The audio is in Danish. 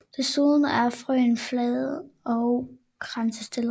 Desuden er frøene flade og kransstillede